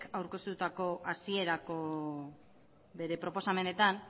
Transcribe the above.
aurkeztutako hasierako bere proposamenetan